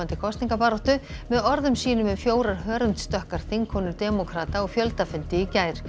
kosningabaráttu með orðum sínum um fjórar þingkonur demókrata á fjöldafundi í gær